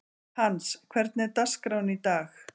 Hans, hvernig er dagskráin í dag?